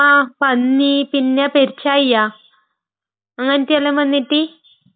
ങാ...പന്നി...പിന്നെ പെരുച്ചാഴിയാ...അങ്ങനത്തെയെല്ലാം വന്നിറ്റ്...